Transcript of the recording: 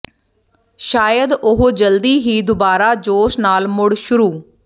ਸ਼ਾਇਦ ਉਹ ਜਲਦੀ ਹੀ ਦੁਬਾਰਾ ਜੋਸ਼ ਨਾਲ ਮੁੜ ਸ਼ੁਰੂ